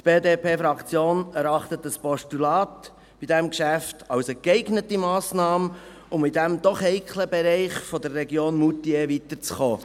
Die BDP-Fraktion erachtet ein Postulat bei diesem Geschäft als eine geeignete Massnahme, um in diesem doch heiklen Bereich der Region Moutier weiterzukommen.